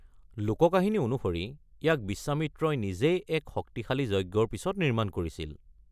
লোককাহিনী অনুসৰি, ইয়াক বিশ্বমিত্ৰই নিজেই এক শক্তিশালী যজ্ঞৰ পিছত নিৰ্মাণ কৰিছিল।